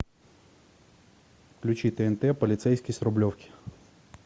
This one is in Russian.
включи тнт полицейский с рублевки